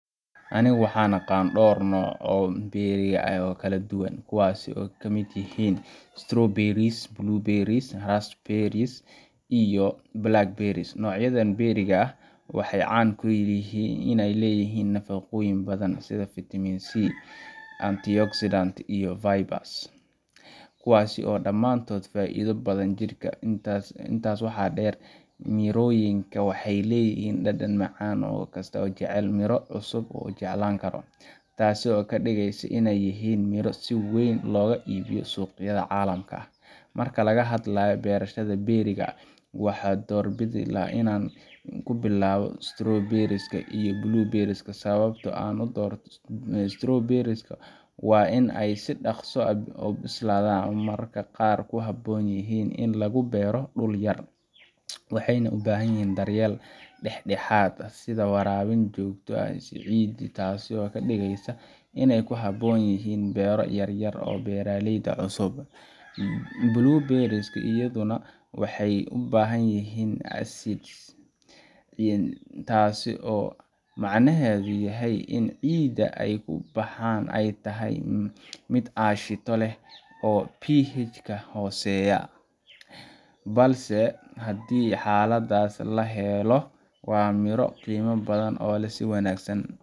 Anigu waxaan aqaan dhowr nooc oo berry ah oo kala duwan, kuwaas oo ay ka mid yihiin strawberries, blueberries, raspberries, iyo blackberries. Noocyadan berry-ga ah waxay caan ku yihiin inay leeyihiin nafaqooyin badan, sida fiitamiin C, antioxidants, iyo fiber, kuwaas oo dhammaantood ka faa’iido badan jidhka. Intaa waxaa dheer, mirooyinkan waxay leeyihiin dhadhan macaan oo qof kasta oo jecel miro cusub uu jeclaan karo, taasoo ka dhigaysa inay yihiin miro si weyn looga iibiyo suuqyada caalamka. Marka laga hadlayo beerashada berry-ga, waxaan doorbidaa inaan ku bilaabo strawberries iyo blueberries. Sababta aan u doorto strawberries waa inay si dhaqso ah u bislaadaan isla markaana ku habboon yihiin in lagu beero dhul yar. Waxay u baahan yihiin daryeel dhexdhexaad ah, sida waraabin joogto ah iyo ciid wanaagsan, taasoo ka dhigaysa inay ku habboon yihiin beero yaryar iyo beeraleyda cusub. Blueberries iyaduna waxay u baahan yihiin ciid acid ah, taasoo macnaheedu yahay in ciidda ay ku baxaan ay tahay mid aashito leh oo pH-ga hooseeya, balse haddii xaaladahaas la helo, waa miro qiimo badan leh oo si wanaagsan